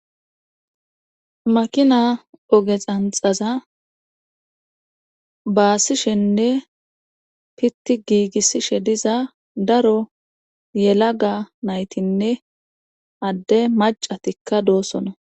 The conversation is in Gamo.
makina oge xanxaza baasishenne pitti giigissishe diza daro yelaga naytinne adde macatikka doossona